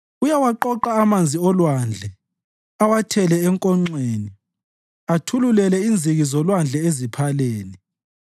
Uyawaqoqa amanzi olwandle awathele enkonxeni; athululele inziki zolwandle eziphaleni.